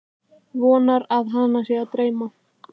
Vonar að hana sé að dreyma.